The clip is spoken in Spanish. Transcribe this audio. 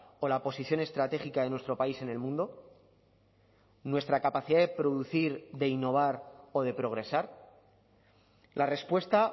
o la posición estratégica de nuestro país en el mundo nuestra capacidad de producir de innovar o de progresar la respuesta